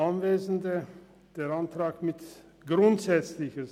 Zum Antrag betreffend den Begriff «grundsätzlich»: